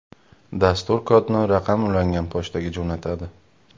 Dastur kodni raqam ulangan pochtaga jo‘natadi.